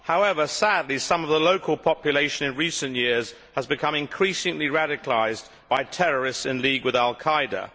However, sadly some of the local population in recent years have become increasingly radicalised by terrorists in league with Al Qaida.